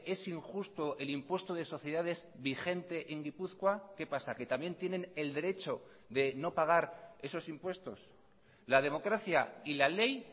es injusto el impuesto de sociedades vigente en gipuzkoa qué pasa que también tienen el derecho de no pagar esos impuestos la democracia y la ley